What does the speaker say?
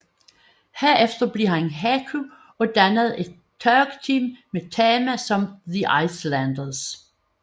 Herefter blev han Haku og dannede et tag team med Tama som The Islanders